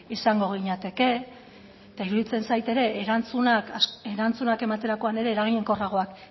izango ginateke eta iruditzen zait ere erantzunak ematerakoan ere eraginkorragoak